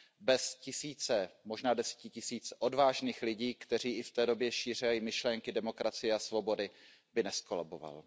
Bez tisíců, možná desetitisíců odvážných lidí, kteří i v té době šířili myšlenky demokracie a svobody, by nezkolaboval.